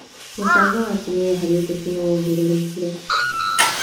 Mũcango wa atumia harĩ ũteti nĩ wongererekire.